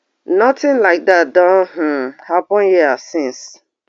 nothing like dat don um happun hia since